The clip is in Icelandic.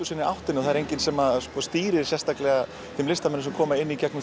áttinni og enginn sem stýrir sérstaklega þeim listamönnum sem koma inn í gegnum